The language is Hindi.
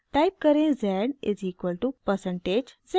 टाइप करें z is equal to percentage z